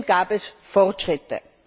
Trotzdem gab es Fortschritte.